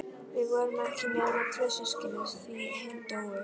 Við vorum ekki nema tvö systkinin, því hin dóu.